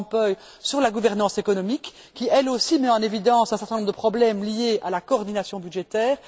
van Rompuy sur la gouvernance économique qui, elle aussi, met en évidence un certain nombre de problèmes liés à la coordination budgétaire.